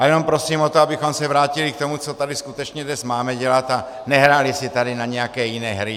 Ale jenom prosím o to, abychom se vrátili k tomu, co tady skutečně dnes máme dělat, a nehráli si tady na nějaké jiné hry.